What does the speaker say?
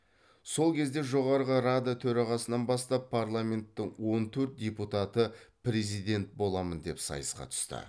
сол кезде жоғарғы рада төрағасынан бастап парламенттің он төрт депутаты президент боламын деп сайысқа түсті